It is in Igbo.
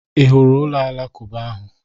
I hụrụ ụlọ alakụba ahụ?